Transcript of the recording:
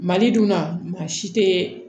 Mali dunna maa si tɛ